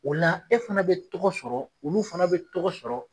O la e fana bɛ tɔgɔ sɔrɔ olu fana bɛ tɔgɔ sɔrɔ.